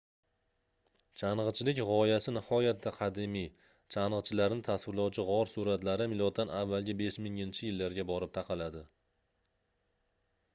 changʻichilik gʻoyasi nihoyatda qadimiy changʻichilarni tasvirlovchi gʻor suratlari m.a. 5000-yillarga borib taqaladi